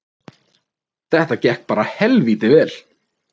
Þetta gekk bara helvíti vel